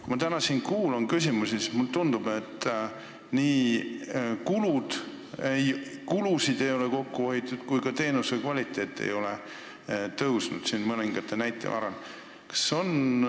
Kui ma täna siin küsimusi kuulan, siis mulle tundub, et kulusid ei ole kokku hoitud ja ka teenuse kvaliteet ei ole mõningate näidete varal tõusnud.